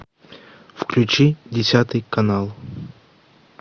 включи десятый канал